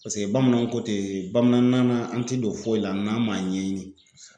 Paseke bamananw ko ten bamananna na an ti don foyi la n'an' m'a ɲɛɲini. Kosɛbɛ.